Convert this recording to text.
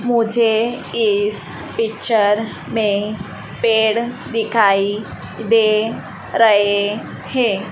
मुझे इस पिक्चर में पेड़ दिखाई दे रहे हैं।